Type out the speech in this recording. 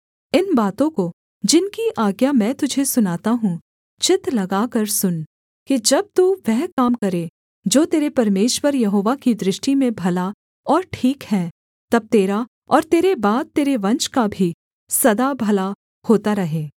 इन बातों को जिनकी आज्ञा मैं तुझे सुनाता हूँ चित्त लगाकर सुन कि जब तू वह काम करे जो तेरे परमेश्वर यहोवा की दृष्टि में भला और ठीक है तब तेरा और तेरे बाद तेरे वंश का भी सदा भला होता रहे